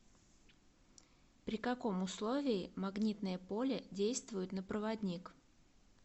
при каком условии магнитное поле действует на проводник